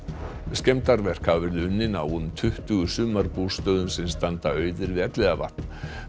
skemmdarverk hafa verið unnin á um tuttugu sumarbústöðum sem standa auðir við Elliðavatn